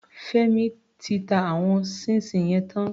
Fẹ́mi ti ta àwọn ṣíín ṣiìn yẹn tán.